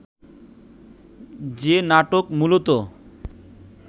যে নাটক মূলত